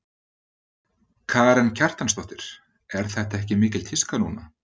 Karen Kjartansdóttir: Er þetta ekki mikil tíska núna?